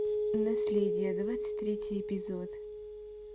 наследие двадцать третий эпизод